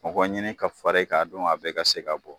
Mɔgɔ ɲini ka fara e kan a don a bɛɛ ka se ka bɔ